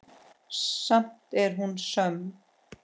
Samt er hún söm.